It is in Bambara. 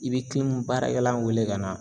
I bi baarakɛla wele ka na